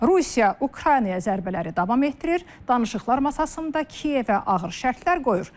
Rusiya Ukraynaya zərbələri davam etdirir, danışıqlar masasında Kiyevə ağır şərtlər qoyur.